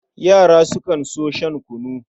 Yara sukan so shan kunu.